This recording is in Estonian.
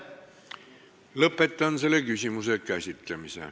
Lõpetan selle küsimuse käsitlemise.